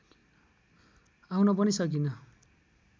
आउन पनि सकिन